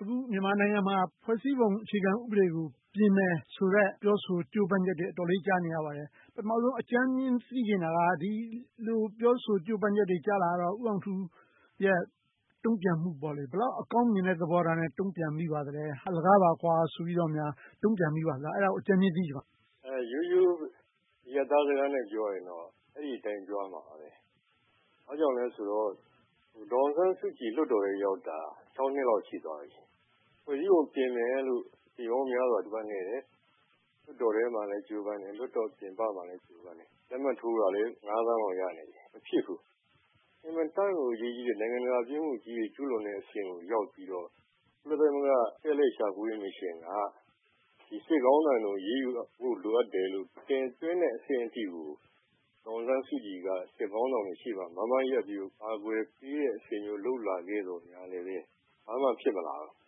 အခုမြန်မာနိုင်ငံမှာ ဖွဲ့စည်းပုံအခြေခံဥပဒေကို ပြင်မယ်ဆိုတဲ့ ပြောဆို၊ ကြိုးပမ်းချက်တွေ အတော်လေးကြာနေရပါတယ်။ ပထမဦးဆုံး အကြမ်းမျဉ်းသိချင်တာက ဒီလိုပြောဆိုကြိုးပမ်းချက်တွေ ကြာလာရတော့ ဦးအောင်ထူးရဲ့ တုံ့ပြန်မှု၊ ဘယ်လောက်အကောင်းမြင်တဲ့ သဘောထားနဲ့ တုံ့ပြန်မိပါသလဲ။ အလကားပါဆိုပြီး တုံ့ပြန်မိပါသလား။ အဲဒါကို အကြမ်းမျဉ်း သိချင်ပါတယ်။ ရိုးရိုးအရပ်သားစကားနဲ့ ပြောရမယ်ဆိုရင်တော့ အဲဒီအတိုင်းပြောရမှာပဲ။ ဘာကြောင့်လဲဆိုတော့ ဒေါ်အောင်ဆန်းစုကြည် လွှတ်တော်ထဲရောက်တာ ခြောက်နှစ်လောက် ရှိသွားပြီ။ ဖွဲ့စည်းပုံပြင်မယ်ဆိုပြီးတော့ အကြိမ်ပေါင်းများစွာ ကြိုးပမ်းခဲ့တယ်။ လွှတ်တော်ထဲမှာ ကြိုးပမ်းတယ်။ လွှတ်တော်ပြင်ပမှာလည်း ကြိုးပမ်းတယ်။ လက်မှတ်ထိုးတာလည်း ငါးသန်းလောက် ရနေပြီ။ မဖြစ်ဘူး။ အင်မတန်ကို အရေးကြီးတဲ့ နိုင်ငံတကာပြစ်မှုကြီးတွေ ကျူးလွန်တဲ့အဆင့်ကိုရောက်ပြီးတော့ ကုလသမဂ္ဂ ရှာဖွေရေးမစ်ရှင်းက စစ်ခေါင်းဆောင်တွေကို အရေးယူဖို့ လိုအပ်တယ်လို့ တင်သွင်းတဲ့အဆင့်အထိကို ဒေါ်အောင်ဆန်းစုကြည်က စစ်ခေါင်းဆောင်တွေရှေ့မှာ မားမားရပ်ပြီးတော့ ကာကွယ်ပေးတဲ့အဆင့်မျိုး လုပ်လာခဲ့သော်ငြားလဲ ဘာမှဖြစ်မလာခဲ့ဘူး